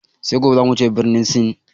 Sai gobe zamu wuce birnin Sin